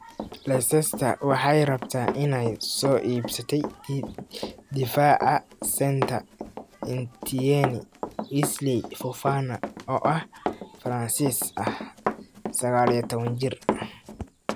(Mail) Leicester waxay rabtaa inay soo iibsatay difaaca Saint-Etienne, Wesley Fofana oo ah Faransiis ah 19 jir.